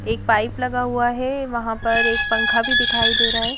एक पाइप लगा हुआ है वहां पर एक पंखा भी दिखाई दे रहा है।